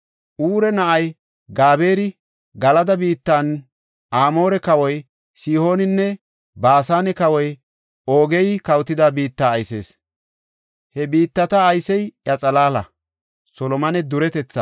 Ure na7ay Gabeeri, Galada biittan Amoore kawoy Sihooninne Baasane kawoy Oogey kawotida biitta aysees; he biittata aysey iya xalaala.